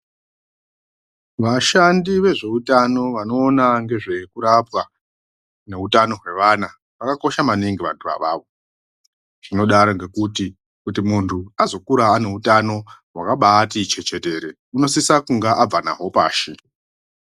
Vashandi vezvowu tano vanoona ngezve kurapwa neutano hwe vana vaka kosha maningi vandu ivava tinodaro nokuti kuti mundu agokura ane hutano hwakati chechetere unosesa kunge abva nawo pashi.